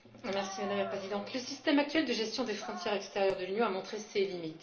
Madame la Présidente, le système actuel de gestion des frontières extérieures de l'Union a montré ses limites.